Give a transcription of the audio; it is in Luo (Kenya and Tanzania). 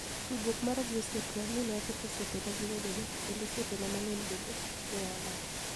Tudruok mara gi osiepnia, ni e aketho osiepenia gi wedenia, kenido osiepenia manig'eniy benide ni e olal.